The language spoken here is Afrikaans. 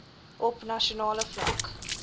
op nasionale vlak